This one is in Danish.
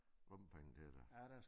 Lommepenge til der